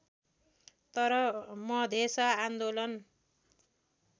तर मधेस आन्दोलन